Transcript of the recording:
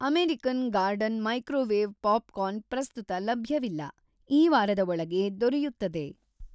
American Garden microwave popcorn ಪ್ರಸ್ತುತ ಲಭ್ಯವಿಲ್ಲ, ಈ ವಾರದ ಒಳಗೆ ದೊರೆಯುತ್ತದೆ.